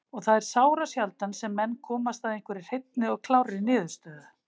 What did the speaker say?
Og það er sárasjaldan sem menn komast að einhverri hreinni og klárri niðurstöðu.